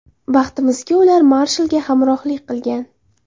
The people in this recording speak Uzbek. Baxtimizga, ular Marshalga hamrohlik qilgan.